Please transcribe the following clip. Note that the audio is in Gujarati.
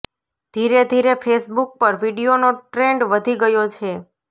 ધીરે ધીરે ફેસબુક પર વીડિયોનો ટ્રેન્ડ વધી ગયો છે